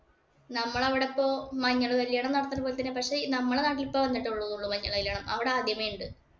നമ്മൾ അവിടെ ഇപ്പൊ മഞ്ഞള് കല്യാണം നടത്തുന്ന പോലെ തന്നെയാ. പക്ഷേ, നമ്മടെ നാട്ടില് ഇപ്പൊ വന്നിട്ടേയുള്ളൂ മഞ്ഞള് കല്യാണം. അവിടെ ആദ്യമേ ഉണ്ട്.